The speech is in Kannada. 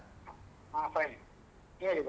ಹ fine ನೀವ್ ಹೇಗಿದ್ದೀರ?